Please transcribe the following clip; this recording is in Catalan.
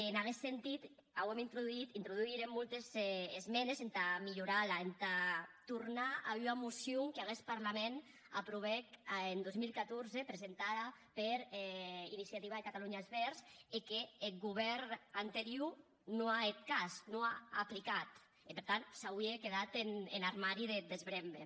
en aguest sentit auem introdusit introdusírem moltes esmendes entà milhorar la entà tornar a ua mocion qu’aguest parlament aprovèc en dos mil catorze presentada per iniciativa per catalunya verds e qu’eth govèrn anterior non a hèt cas non a aplicat e per tant s’auie quedat en armari de desbrembe